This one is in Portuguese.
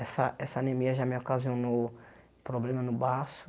Essa essa anemia já me ocasionou problema no baço.